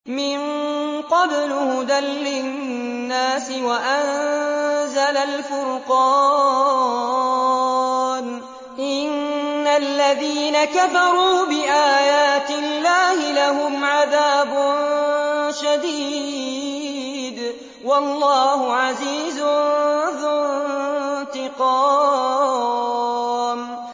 مِن قَبْلُ هُدًى لِّلنَّاسِ وَأَنزَلَ الْفُرْقَانَ ۗ إِنَّ الَّذِينَ كَفَرُوا بِآيَاتِ اللَّهِ لَهُمْ عَذَابٌ شَدِيدٌ ۗ وَاللَّهُ عَزِيزٌ ذُو انتِقَامٍ